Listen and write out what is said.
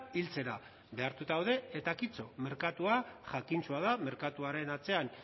hiltzera behartuta daude eta kito merkatua jakintsua da merkatuaren atzean